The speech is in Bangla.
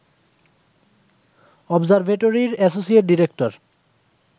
অবজারভেটরির অ্যাসোসিয়েট ডিরেক্টর